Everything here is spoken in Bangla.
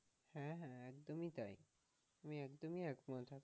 হ্যাঁ হ্যাঁ একদমই তাই, আমি একদম একমত।